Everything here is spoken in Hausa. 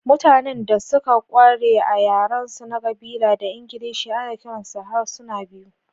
Mutanen da suka ƙware a yarensu na ƙabila da Ingilishi ana kiransu da harsuna biyu.